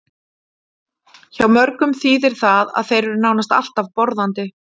Hjá mörgum þýðir það að þeir eru nánast alltaf borðandi.